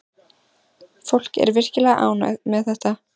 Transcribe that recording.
Fólk er virkilega ánægt með þetta.